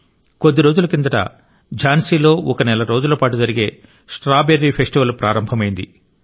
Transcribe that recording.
కొద్దిరోజుల కిందట ఝాన్సీలో ఒక నెల రోజులపాటు జరిగే స్ట్రాబెర్రీ ఫెస్టివల్ ప్రారంభమైంది